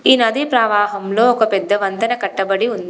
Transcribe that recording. ఈ నది ప్రవాహంలో ఒక పెద్ద వంతెన కట్టబడి ఉంది.